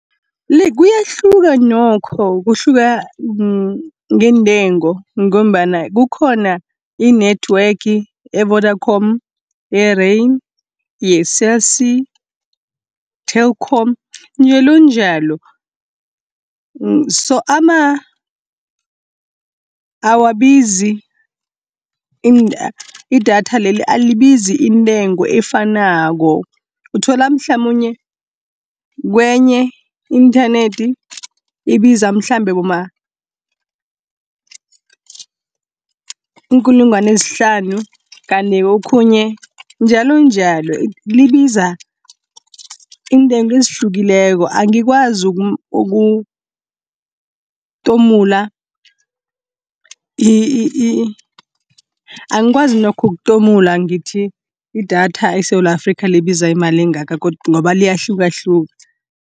kuyahluka nokho kuhluka ngeendengo ngombana kukhona i-network, ye-Vodacom, ye-Rain, ye-Cell C, Telkom njalonjalo. Idatha leli alibizi intengo efanako, uthola mhlamunye kenye i-inthanethi ibiza mhlambe boma iinkulungwana ezihlanu, kanti okhunye njalonjalo. Libiza iintengo ezihlukileko, angikwazi nokho ukutomula ngithi idatha eSewula Afrika libizi imali engaka ngoba liyahlukahluka.